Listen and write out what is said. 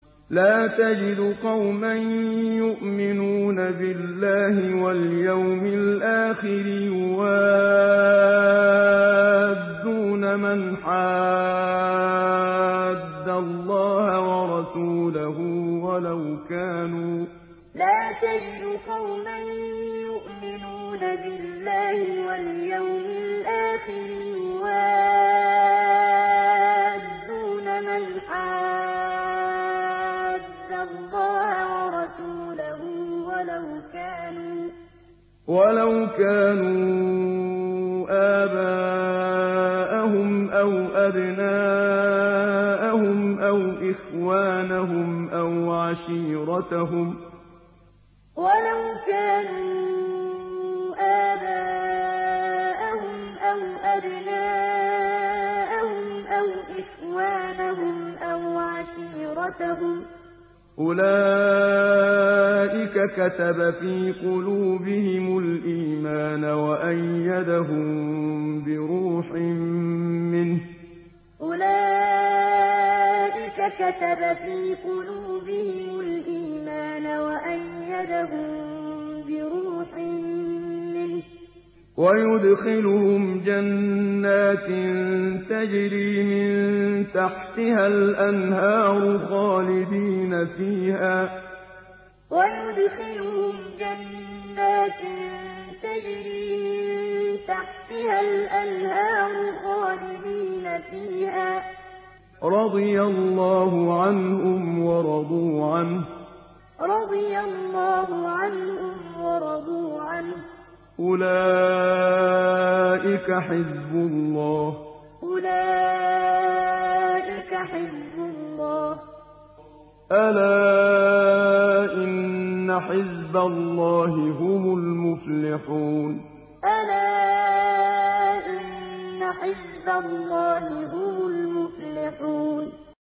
لَّا تَجِدُ قَوْمًا يُؤْمِنُونَ بِاللَّهِ وَالْيَوْمِ الْآخِرِ يُوَادُّونَ مَنْ حَادَّ اللَّهَ وَرَسُولَهُ وَلَوْ كَانُوا آبَاءَهُمْ أَوْ أَبْنَاءَهُمْ أَوْ إِخْوَانَهُمْ أَوْ عَشِيرَتَهُمْ ۚ أُولَٰئِكَ كَتَبَ فِي قُلُوبِهِمُ الْإِيمَانَ وَأَيَّدَهُم بِرُوحٍ مِّنْهُ ۖ وَيُدْخِلُهُمْ جَنَّاتٍ تَجْرِي مِن تَحْتِهَا الْأَنْهَارُ خَالِدِينَ فِيهَا ۚ رَضِيَ اللَّهُ عَنْهُمْ وَرَضُوا عَنْهُ ۚ أُولَٰئِكَ حِزْبُ اللَّهِ ۚ أَلَا إِنَّ حِزْبَ اللَّهِ هُمُ الْمُفْلِحُونَ لَّا تَجِدُ قَوْمًا يُؤْمِنُونَ بِاللَّهِ وَالْيَوْمِ الْآخِرِ يُوَادُّونَ مَنْ حَادَّ اللَّهَ وَرَسُولَهُ وَلَوْ كَانُوا آبَاءَهُمْ أَوْ أَبْنَاءَهُمْ أَوْ إِخْوَانَهُمْ أَوْ عَشِيرَتَهُمْ ۚ أُولَٰئِكَ كَتَبَ فِي قُلُوبِهِمُ الْإِيمَانَ وَأَيَّدَهُم بِرُوحٍ مِّنْهُ ۖ وَيُدْخِلُهُمْ جَنَّاتٍ تَجْرِي مِن تَحْتِهَا الْأَنْهَارُ خَالِدِينَ فِيهَا ۚ رَضِيَ اللَّهُ عَنْهُمْ وَرَضُوا عَنْهُ ۚ أُولَٰئِكَ حِزْبُ اللَّهِ ۚ أَلَا إِنَّ حِزْبَ اللَّهِ هُمُ الْمُفْلِحُونَ